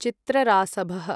चित्ररासभः